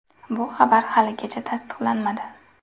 Bu xabar haligacha tasdiqlanmadi.